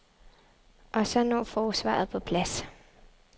Og så når forsvaret på plads.